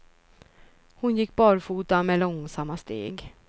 Hon gick barfota med långsamma steg.